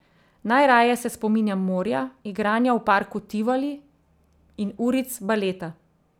Najraje se spominjam morja, igranja v parku Tivoli in uric baleta.